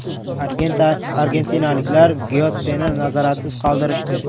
Argentinaliklar Gyotseni nazoratsiz qoldirishdi.